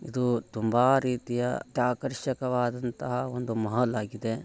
ಇದು ತುಂಬಾ ರೀತಿಯ ಆಕರ್ಷಕವಾದಂತಹ ಒಂದು ಮಾಲ್ ಆಗಿದೆ.